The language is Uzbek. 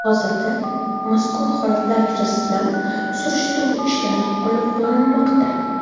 Hozirda mazkur holatlar yuzasidan surishtiruv ishlari olib borilmoqda.